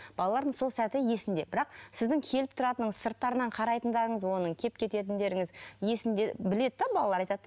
балалардың сол сәті есінде бірақ сіздің келіп тұратыныңыз сырттарынан қарайтындарыңыз оның келіп кететіндеріңіз есінде біледі де балалар айтады да